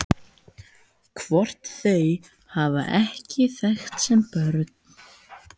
Hvort þau hafi ekki þekkst sem börn?